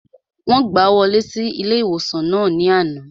Wọ́n gbàá wọlé sí ilé-ìwòsàn náà ní àná